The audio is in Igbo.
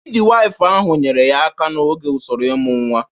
Midiwifu ahụ nyeere ya aka n'oge usoro ịmụ nwa.